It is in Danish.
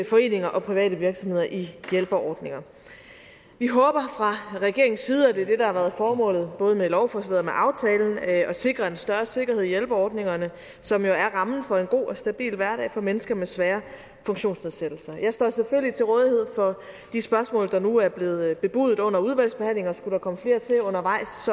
foreninger og private virksomheder i hjælpeordninger vi håber fra regeringens side og det er det der har været formålet både med lovforslaget og med aftalen at sikre en større sikkerhed i hjælpeordningerne som jo er en rammen for en god og stabil hverdag for mennesker med svære funktionsnedsættelser jeg står selvfølgelig til rådighed for de spørgsmål der nu er blevet bebudet under udvalgsbehandlingen